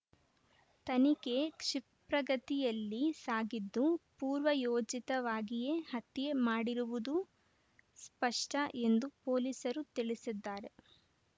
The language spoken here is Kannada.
ತನಿಖೆ ಕ್ಷಿಪ್ರಗತಿಯಲ್ಲಿ ಸಾಗಿದ್ದು ಪೂರ್ವಯೋಜಿತವಾಗಿಯೇ ಹತ್ಯೆ ಮಾಡಿರುವುದೂ ಸ್ಪಷ್ಟಎಂದು ಪೊಲೀಸರು ತಿಳಿಸಿದ್ದಾರೆ